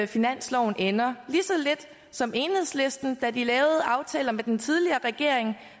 finansloven ender lige så lidt som enhedslisten da de lavede aftaler med den tidligere regering